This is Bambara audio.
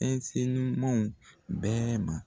ɲumanw bɛɛ ma.